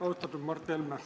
Austatud Mart Helme!